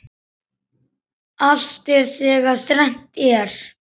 Allt er þegar þrennt er.